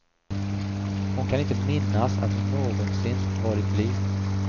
Hon kan inte minnas att hon någonsin varit blyg.